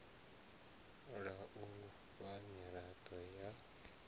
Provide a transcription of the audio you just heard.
la u fha mirado ya